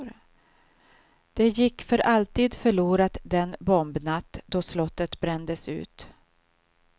Det gick för alltid förlorat den bombnatt, då slottet brändes ut.